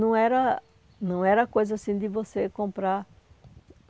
Não era não era coisa assim de você comprar.